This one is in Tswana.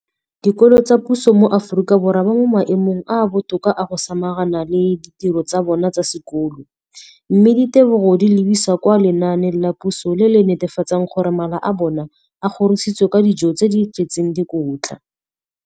dikolo tsa puso mo Aforika Borwa ba mo maemong a a botoka a go ka samagana le ditiro tsa bona tsa sekolo, mme ditebogo di lebisiwa kwa lenaaneng la puso le le netefatsang gore mala a bona a kgorisitswe ka dijo tse di tletseng dikotla.